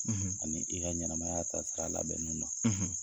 Ani i ka ɲɛnɛmaya taasira labɛnni na